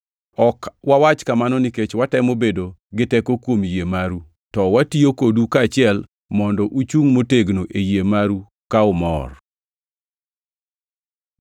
Ok wawach kamano nikech watemo bedo gi teko kuom yie maru, to watiyo kodu kaachiel mondo uchungʼ motegno e yie maru ka umor.